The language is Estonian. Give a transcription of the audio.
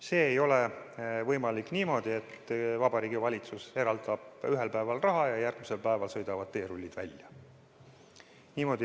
See ei ole võimalik niimoodi, et Vabariigi Valitsus eraldab ühel päeval raha ja järgmisel päeval sõidavad teerullid välja.